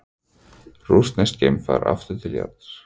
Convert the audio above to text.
Rússneskt geimfar aftur til jarðar